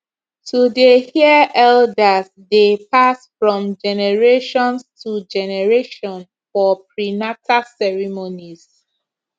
to dey hear eldersdey pass from generations to generation for prenata ceremonies